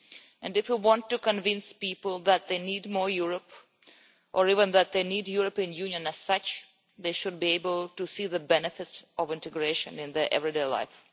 and if we want to convince people that they need more Europe, or even that they need the European Union as such, they should be able to see the benefits of integration in their everyday life.